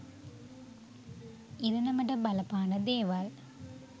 ඉරණමට බලපාන දේවල්.